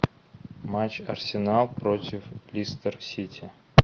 матч арсенал против лестер сити